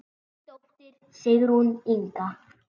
Þín dóttir, Sigrún Inga.